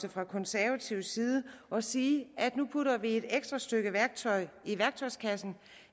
fra konservativ side og sige at nu putter vi et ekstra stykke værktøj i værktøjskassen